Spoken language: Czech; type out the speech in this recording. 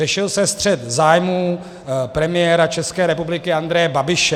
Řešil se střet zájmů premiéra České republiky Andreje Babiše.